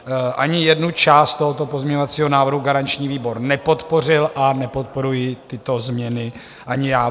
Ani jednu část tohoto pozměňovacího návrhu garanční výbor nepodpořil a nepodporuji tyto změny ani já.